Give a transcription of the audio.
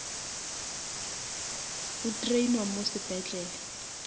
o drainwa mo sepetlele